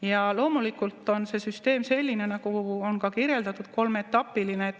Ja loomulikult on see süsteem selline, nagu on kirjeldatud, kolmeetapiline.